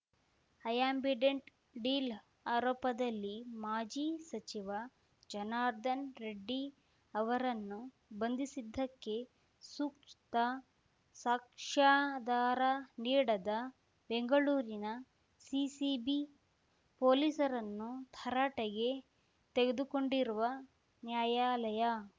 Ambidant deal ಆರೋಪದಲ್ಲಿ ಮಾಜಿ ಸಚಿವ ಜನಾರ್ದನ್ ರೆಡ್ಡಿ ಅವರನ್ನು ಬಂಧಿಸಿದ್ದಕ್ಕೆ ಸೂಕ್ತ ಸಾಕ್ಷ್ಯಾಧಾರ ನೀಡದ ಬೆಂಗಳೂರಿನ ಸಿಸಿಬಿ ಪೊಲೀಸರನ್ನು ತರಾಟೆಗೆ ತೆಗೆದುಕೊಂಡಿರುವ ನ್ಯಾಯಾಲಯ